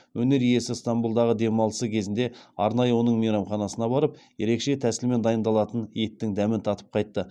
өнер иесі стамбұлдағы демалысы кезінде арнайы оның мейрамханасына барып ерекше тәсілмен дайындалатын еттің дәмін татып қайтты